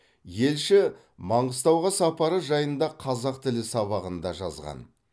елші маңғыстауға сапары жайында қазақ тілі сабағында жазған